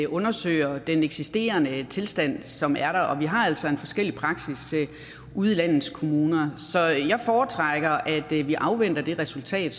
undersøger den eksisterende tilstand som er der og vi har altså en forskellig praksis ude i landets kommuner så jeg foretrækker at vi vi afventer resultatet